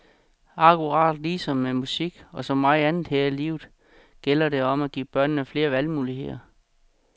Akkurat ligesom med musik og så meget andet her i livet gælder det om at give børnene flere valgmuligheder.